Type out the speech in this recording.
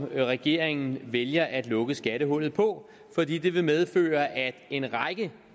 regeringen vælger at lukke skattehullet på fordi det vil medføre at en række